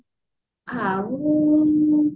ଆଉ